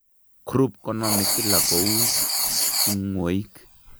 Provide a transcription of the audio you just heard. Croup konamee kila kouu tingwoik